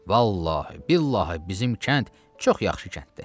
Vallahi billahi bizim kənd çox yaxşı kənddir.